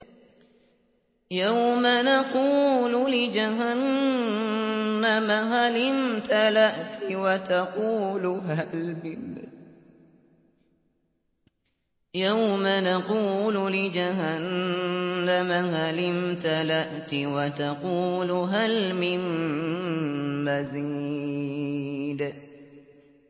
يَوْمَ نَقُولُ لِجَهَنَّمَ هَلِ امْتَلَأْتِ وَتَقُولُ هَلْ مِن مَّزِيدٍ